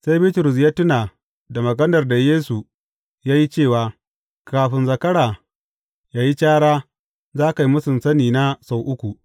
Sai Bitrus ya tuna da maganar da Yesu ya yi cewa, Kafin zakara yă yi cara, za ka yi mūsun sani na sau uku.